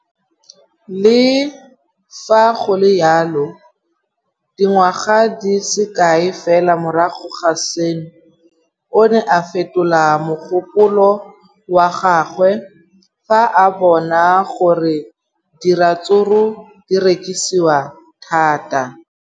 Le fa go le jalo, dingwaga di se kae fela morago ga seno, o ne a fetola mogopolo wa gagwe fa a bona gore diratsuru di rekisiwa thata.